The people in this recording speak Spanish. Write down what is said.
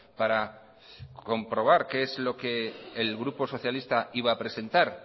para comprobar qué es lo que el grupo socialista iba a presentar